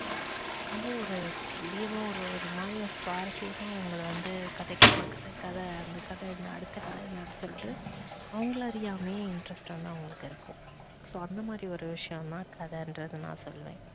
ரொம்ப ஒரு துல்லியமா ஒரு ஒரு மாறியா சுவாரசியமா உங்களை வந்த கதை கேக்கலாம் கதை கதை அந்த கதை என்னா அடுத்த கதை என்னா அப்படின்னு சொல்லிட்டு அவங்களை அறியாமையே interest வந்து அவங்களுக்கு இருக்கும் so அந்த மாறி ஒரு விஷயம் தான் கதைனுறத நான் சொல்லுவன்.